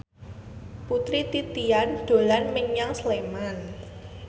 Putri Titian dolan menyang Sleman